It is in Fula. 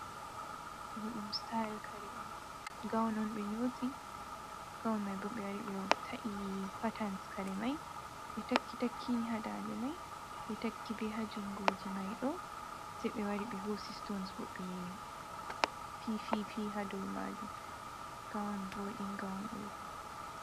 Ɗo ɗum sitayel kare on, gawun on ɓe nyooti gawun may bo, ɓe wari ɓe ta’i paatans kare may, ɓe takki takkini haa daande may, ɓe takki be haa junngooji may ɗo, sey ɓe wari ɓe hoosi sitons, bo fifi fi haa dow maajum, gawun waɗi nga on ɗo.